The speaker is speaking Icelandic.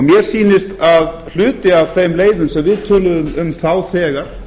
mér sýnist að hluti af þeim leiðum sem við töluðum um þá þegar